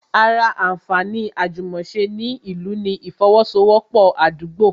Ará anfaani àjùmòse ni ìlú ni ifowosowopo Àdúgbo